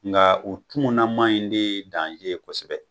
Nka o tumunaman in de ye kosɛbɛ.